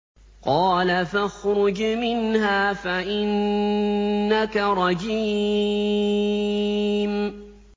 قَالَ فَاخْرُجْ مِنْهَا فَإِنَّكَ رَجِيمٌ